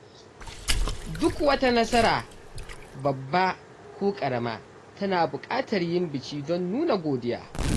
Duk wata nasara, babba ko ƙarama, tana bukatar yin biki don nuna godiya.